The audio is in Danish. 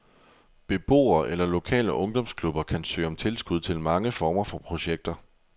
Beboere eller lokale ungdomsklubber kan søge om tilskud til mange former for projekter.